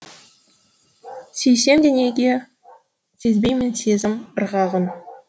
сүйсемде неге сезбеймін сезім ырғағын